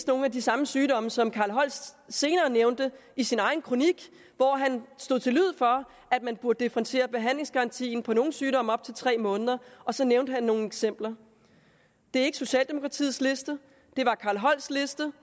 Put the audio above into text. nogle af de samme sygdomme som carl holst senere nævnte i sin egen kronik hvor han slog til lyd for at man burde differentiere behandlingsgarantien for nogle sygdomme op til tre måneder og så nævnte han nogle eksempler det er ikke socialdemokratiets liste det er carl holsts liste